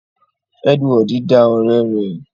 Edward da ọrẹ rẹ